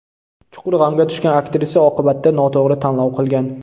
Chuqur g‘amga tushgan aktrisa oqibatda noto‘g‘ri tanlov qilgan.